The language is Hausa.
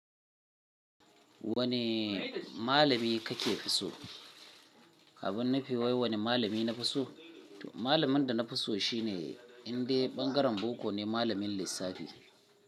Wane malami ka ke fi so? Abin nufi wai wane malami na fi so? To malamin da na fi so shine indai ɓangaren boko ne, malamin lissafi.